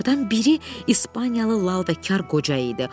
Bunlardan biri İspaniyalı lal və kar qoca idi.